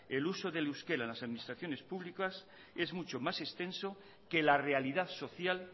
el uso del euskera en las administraciones públicas es mucho más extenso que la realidad social